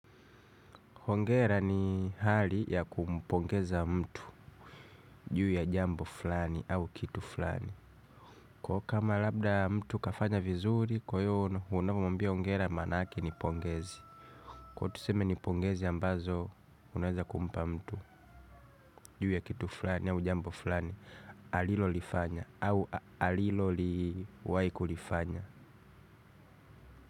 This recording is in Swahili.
Hongera ni hali ya kumpongeza mtu juu ya jambo fulani au kitu fulani. Kwa kama labda mtu kafanya vizuri, kwa hiyo unapo muambia hongera manake ni pongezi. Kwa tuseme ni pongezi ambazo, unaweza kumpa mtu juu ya kitu fulani au jambo fulani, alilo lifanya au alilo liwaikulifanya.